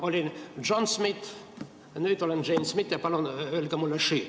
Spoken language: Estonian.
Olin John Smith, nüüd olen Jane Smith ja palun öelge mulle she.